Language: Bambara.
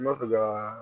Mɔfi ka